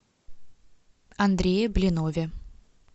андрее блинове